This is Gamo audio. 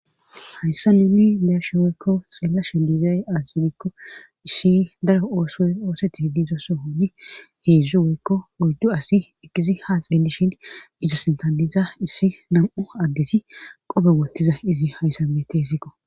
hayssa nuni beyarshe woykko xeellasho diizay az widikko issi daro oosoy ooseti hiddizosso hoyi heedzdzu woykko oyddu asi ekisi ha xeelli shin bizosintadiza issi nam7u addesi qobe wotiza izi hayssabete hesiqo